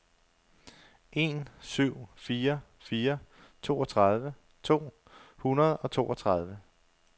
en syv fire fire toogtredive to hundrede og toogtredive